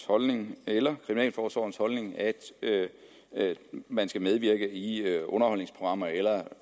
holdning eller kriminalforsorgens holdning at man skal medvirke i underholdningsprogrammer eller